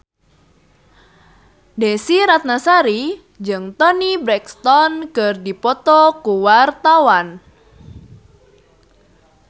Desy Ratnasari jeung Toni Brexton keur dipoto ku wartawan